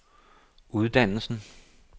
uddannelsen